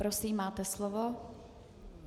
Prosím, máte slovo.